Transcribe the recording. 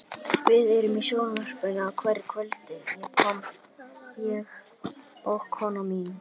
Við erum í sjónvarpinu á hverju kvöldi, ég og konan mín.